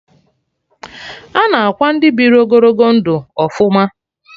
Ana akwa Ndị biri ogologo ndụ ọfụma